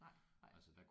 Nej nej